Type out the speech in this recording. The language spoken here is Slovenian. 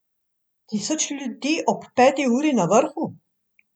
Tisoč ljudi ob peti uri na vrhu?